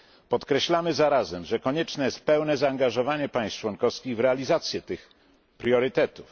Podkreślamy zarazem, że konieczne jest pełne zaangażowanie państw członkowskich w realizację tych priorytetów.